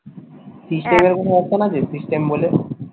system system বলে?